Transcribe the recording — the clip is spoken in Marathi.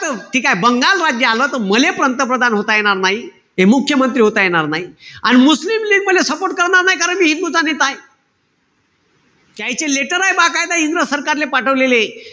ठीकेय? बंगाल राज्य आलं त मले पंतप्रधान होता येणार नाई. हे मुख्यमंत्री होता येणार नाई. अन मुस्लिम लीग मले support करणार नाई. कारण मी हिंदूंचा नेताय. त्याईचे letter ए इंग्रज सरकारले पाठवलेले.